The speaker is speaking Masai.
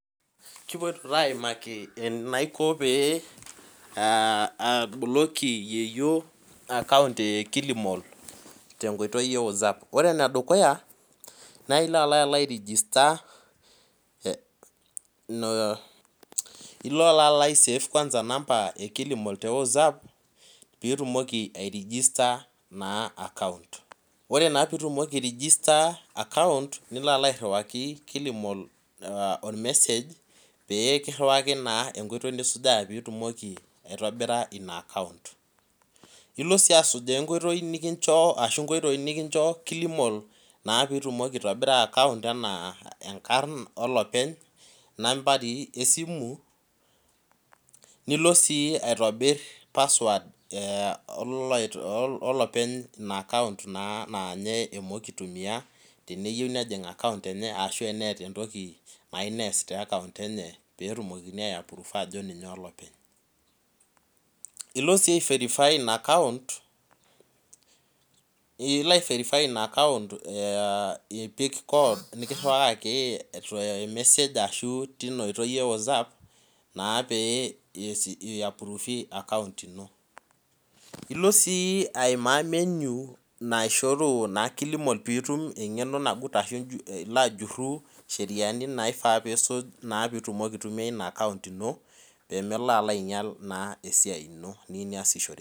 Kipoito aimaki enaiko paboloki yieyio account e kilimal tenkoitoi ewozap na ore enedukuya na ilo ai register ilo aisafe nambai ekilimal tewozap ore pitumoki ai register account nilo airiwaki kilimal ormesej pekiriwaki enkoitoi pitumoki ainoto inaakount ilo si asujaa enkoitoi nikincho ashu nkoitoi nikincho kilimal pitumoki aitobira anaa nkarn olopeny nambai esimu nilo si aitobir password enopeny inaakount aanye emoki itumia teneyieu neas aitoki teakount eye ilo si aiferify inaakount ipik kod nikiriwakaki tormesej ashu tinaoitoi ewozap na pe ilo si aimaa menu naishoru kilimal pilo ajur ncheriani nilo asuj peitumoki aitumia ina akount ino pemelo ainyal esiai ino niyieu niasishore.